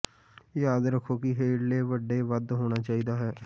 ਯਾਦ ਰੱਖੋ ਕਿ ਹੇਠਲੇ ਵੱਡੇ ਵੱਧ ਹੋਣਾ ਚਾਹੀਦਾ ਹੈ